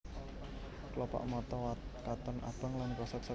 Klopak mata katon abang lan krasa gatel